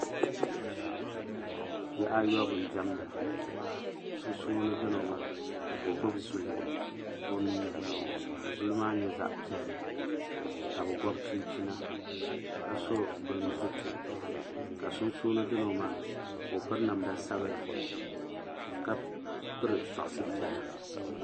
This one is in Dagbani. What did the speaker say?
Bihi ayɔbu n diɛmda sunsuuni dino maa ka o gbibi zuli o nua ni ka zuli maa nyɛ zaɣa piɛlli ka bɛ gobi chinchina ka so bini zuti ka sunsuuni dino maa ka o piri namda sabla ka piri soɣasi piɛla.